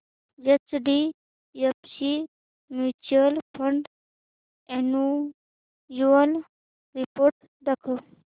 HDFC mutual fund annual report दाखव